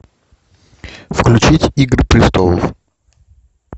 включить игры престолов